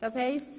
Geschäft